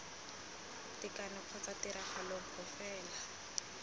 tekano kgotsa tiragalo nngwe fela